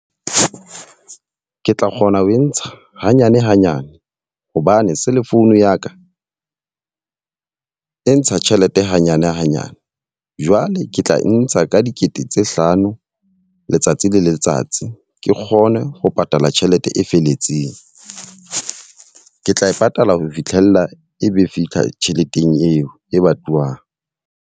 Ke tla kgona ho e ntsha hanyane hanyane hobane cell phone ya ka e ntsha tjhelete hanyane hanyane. Jwale ke tla e ntsha ka dikete tse tse hlano letsatsi le letsatsi. Ke kgone ho patala tjhelete e felletseng. Ke tla e patala ho fihlela e be fitlha tjheleteng eo e batluwang.